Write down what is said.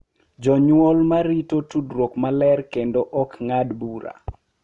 Jonyuol ma rito tudruok maler kendo ma ok ng’ad bura